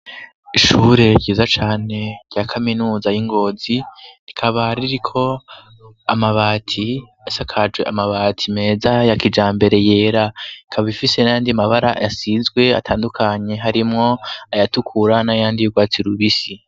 Ishure ryiza cane rya kaminuza y'i Ngozi, rikaba ririko amabati, isakajwe amabati meza ya kijambere yera, ikaba ifise n'ayandi mabara yasizwe atandukanye, harimwo ayatukura n'ayandi y'urwatsi rubisi.